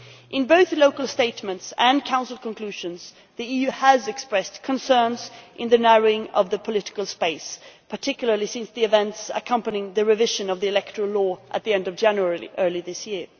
In both the local statements and Council conclusions the EU has expressed concerns in the narrowing of the political space, particularly since the events accompanying the revision of the electoral law at the end of January earlier this year.